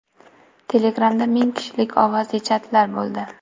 Telegram’da ming kishilik ovozli chatlar paydo bo‘ldi.